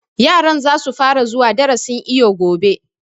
Yaran za su fara zuwa darasin iwo gobe